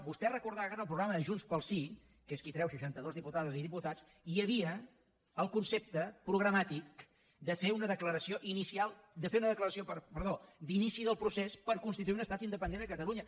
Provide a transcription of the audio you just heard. vostè recordarà que en el programa de junts pel sí que es qui treu seixantados diputades i diputats hi havia el concepte programàtic de fer una declaració d’inici del procés per constituir un estat independent a catalunya